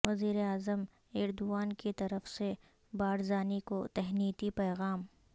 وزیر اعظم ایردوان کی طرف سے بارزانی کو تہنیتی پیغام